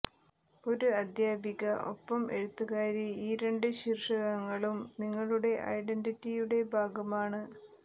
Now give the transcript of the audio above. ഒരു അധ്യാപിക ഒപ്പം എഴുത്തുകാരി ഈ രണ്ട് ശീര്ഷകങ്ങളും നിങ്ങളുടെ ഐഡന്റ്റിറ്റിയുടെ ഭാഗമാണ്